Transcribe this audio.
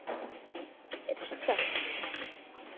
Holdið er stökkt.